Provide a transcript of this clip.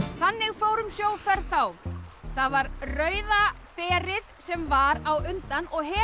þannig fór um sjóferð þá það var Rauða berið sem var á undan og hefur